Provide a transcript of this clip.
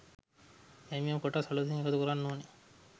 යම් යම් කොටස් අලුතින් එකතු කරන්න ඕනේ